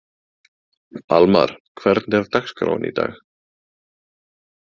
Almar, hvernig er dagskráin í dag?